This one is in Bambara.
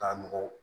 Ka mɔgɔw